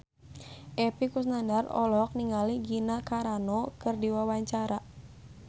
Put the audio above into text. Epy Kusnandar olohok ningali Gina Carano keur diwawancara